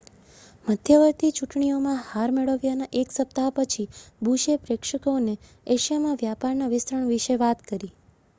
મધ્યવર્તી ચૂંટણીઓમાં હાર મેળવ્યાના એક સપ્તાહ પછી બુશે પ્રેક્ષકોને એશિયામાં વ્યાપારના વિસ્તરણ વિશે વાત કરી